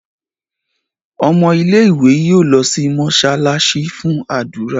Ọmọ ilé ìwé yóò ló sì mosalasi fún ádùrá.